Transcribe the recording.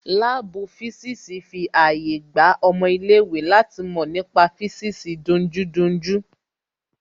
Láàbù físìsì fi àyè gba ọmọ ilé ìwé láti mọ nípa físìsì dunjúdunjú